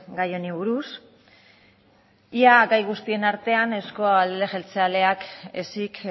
gai honi buruz ia gai guztien artean euzko alderdi jeltzaleak izan ezik